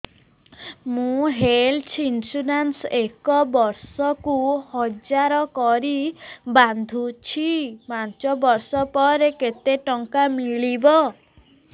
ମୁ health insurance ଏକ ବର୍ଷକୁ ହଜାର କରି ବାନ୍ଧୁଛି ପାଞ୍ଚ ବର୍ଷ ପରେ କେତେ ଟଙ୍କା ମିଳିବ